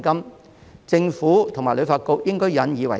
對此，政府和旅發局應引以為鑒。